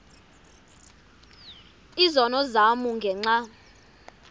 izono zam ngenxa